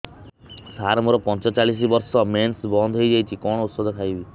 ସାର ମୋର ପଞ୍ଚଚାଳିଶି ବର୍ଷ ମେନ୍ସେସ ବନ୍ଦ ହେଇଯାଇଛି କଣ ଓଷଦ ଖାଇବି